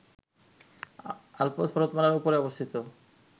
Alps পর্বতমালার উপরে অবস্থিত